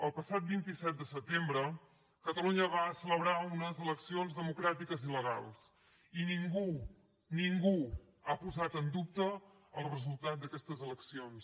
el passat vint set de setembre catalunya va celebrar unes eleccions democràtiques i legals i ningú ningú ha posat en dubte el resultat d’aquestes eleccions